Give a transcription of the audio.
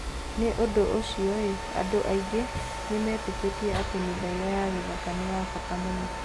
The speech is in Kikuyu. Nĩ ũndũ ũcio, andũ aingĩ nĩ metĩkĩtie atĩ mĩthaiga ya gĩthaka nĩ ya bata mũno.